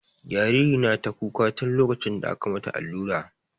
Jariri na ta kuka tun lokacin da aka mata allura.